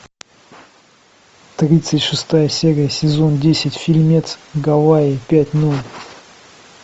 тридцать шестая серия сезон десять фильмец гавайи пять ноль